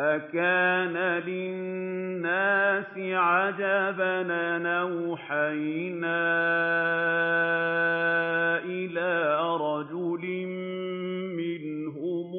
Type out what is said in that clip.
أَكَانَ لِلنَّاسِ عَجَبًا أَنْ أَوْحَيْنَا إِلَىٰ رَجُلٍ مِّنْهُمْ